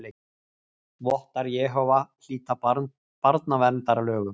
Vottar Jehóva hlýta barnaverndarlögum